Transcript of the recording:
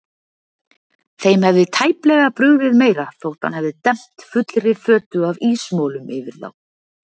Þeim hefði tæplega brugðið meira þótt hann hefði dembt fullri fötu af ísmolum yfir þá.